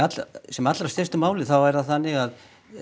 sem allra stystu máli þá er það þannig að